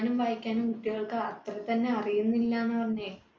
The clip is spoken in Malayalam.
വായിക്കാനും കുട്ടികൾക്ക് അത്രതന്നെ അറിയുന്നില്ല ന്നാ പറഞ്ഞേ